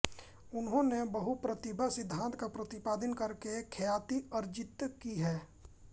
उन्होने बहुप्रतिभा सिद्धांत का प्रतिपादन करके ख्याति अर्जित्त की है